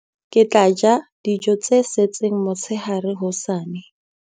ke tla ja dijo tse setseng motshehare hosane